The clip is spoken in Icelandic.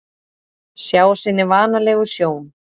Sjá sinni vanalegu sjón.